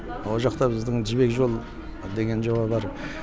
ол жақта біздің жібек жол деген жоба бар